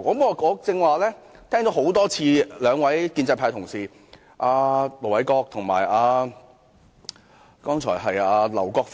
我剛才聽到兩位建制派同事，即盧偉國議員和劉國勳議